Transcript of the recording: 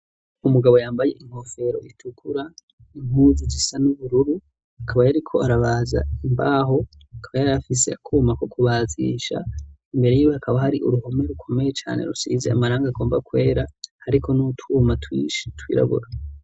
umugabo yambaye inkofero itukura inkuzu zisa n'ubururu akaba yari ko arabaza imbaho akaba yari afise akuma ko kubaziisha imbere y'ibe akaba hari uruhome rukomeye cyane rusize amaranga agomba kwera ariko n'utuma twishi twirabura